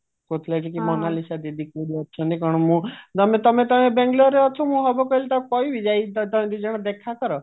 କହୁଥିଲା କି ମୋନାଲିସା ଦିଦି କୋଉଠି ଅଛନ୍ତି କଣ ମୁଁ ମାନେ ତମେ ତମେ ବାଙ୍ଗାଲୋର ରେ ଅଛ ମୁଁ ହବ କହିଲେ ତାକୁ କହିବି ଯାଇକି ତମେ ଦିଜନ ଦେଖାକର